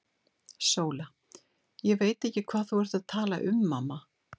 SÓLA: Ég veit ekki hvað þú ert að tala um, mamma.